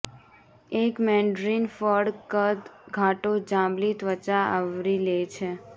એક મેન્ડરિન ફળ કદ ઘાટો જાંબલી ત્વચા આવરી લે છે